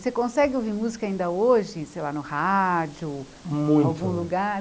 Você consegue ouvir música ainda hoje, sei lá, no rádio, muito, algum lugar?